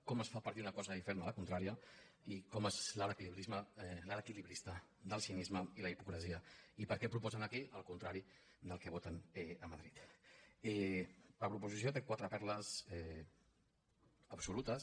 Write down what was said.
com es fa per dir una cosa i fer la contrària i com es és l’alt l’equilibrista del cinisme i la hipocresia i per què proposen aquí el contrari del que voten a madrid la proposició té quatre perles absolutes